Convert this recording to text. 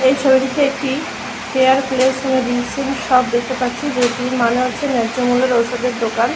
এই ছবিটিতে একটি দেখতে পাচ্ছি। এর মানে হচ্ছে ন্যায্য মূল্যের ঔষুধের দোকান।